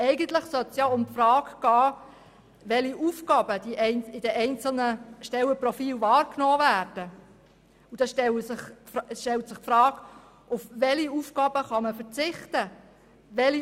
Eigentlich sollte es um die Frage gehen, welche Aufgaben durch die einzelnen Stellenprofile wahrgenommen werden und auf welche Aufgaben man verzichten kann.